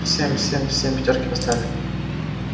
всем всем всем пятёрки поставлю